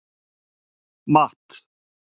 Matt